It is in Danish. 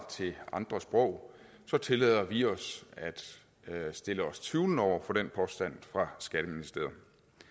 til andre sprog så tillader vi os at stille os tvivlende over for den påstand fra skatteministeriet